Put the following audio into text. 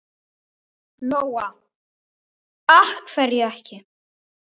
Lóa: Af hverju ekki?